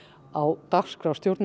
á dagskrá